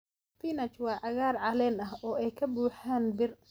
Spinach waa cagaar caleen ah oo ay ka buuxaan bir.